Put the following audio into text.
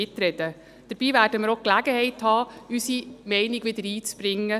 Dabei werden wir auch die Gelegenheit haben, unsere Meinung einzubringen.